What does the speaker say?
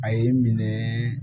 A ye n minɛ